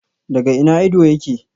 Daga ina ido yake?